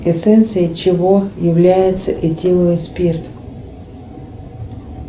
эссенцией чего является этиловый спирт